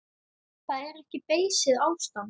Það er ekki beysið ástand.